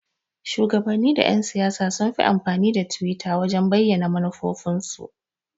Shuwagabanni da Yan-siyasa sunfi amfani da twitter wajan bayyana manufofin su.